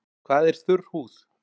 Hvað er þurr húð?